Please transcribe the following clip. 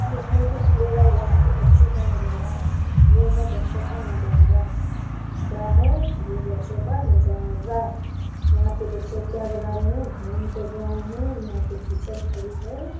देखने को मिलेगा यहाँ पे बच्चो का नजारा ये है बच्चो का नजारा क्या है ये बच्चो का नजारा यहाँ पे बच्चो क्या बना रहे है ड्राइंग कर रहे है यहाँ पे टीचर खड़ी है।